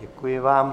Děkuji vám.